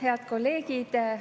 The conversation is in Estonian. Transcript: Head kolleegid!